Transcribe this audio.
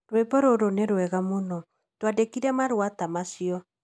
Rwĩmbo rũrũ nĩ rwĩega mũno. Twandĩkĩre marũa ta macio.